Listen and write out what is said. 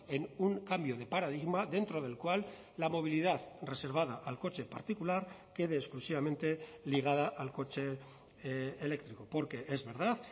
en un cambio de paradigma dentro del cual la movilidad reservada al coche particular quede exclusivamente ligada al coche eléctrico porque es verdad